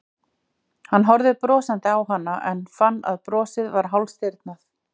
Hann horfði brosandi á hana en fann að brosið var hálfstirðnað.